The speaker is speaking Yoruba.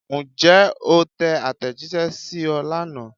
Ǹjẹ́ o tẹ àtẹ̀jíṣẹ́ sí ọ lánàá?